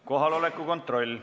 Kohaloleku kontroll.